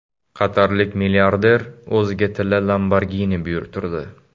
Qatarlik milliarder o‘ziga tilla Lamborghini buyurtirdi.